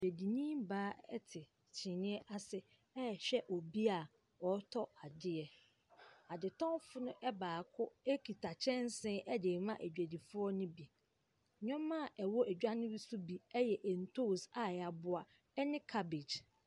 Dwadini baa te kyiniiɛ ase rehwɛ obi a ɔretɔ adeɛ. Adetɔnfo no baako kita kyɛnsee de rema adwadifoɔ no bi. Nnoɔma a ɛwɔ edwa no so bi yɛ ntoos a yɛaboa ne cabbage.